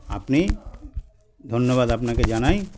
আপনি ধন্যবাদ আপনাকে জানাই